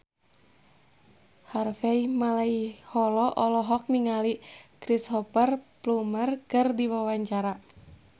Harvey Malaiholo olohok ningali Cristhoper Plumer keur diwawancara